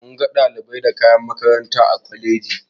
Munga ɗalibai da kayan makaranta a kwalejin.